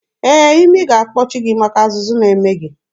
Ee, imi ga-akpọchi gị maka azụzụ na-eme gị.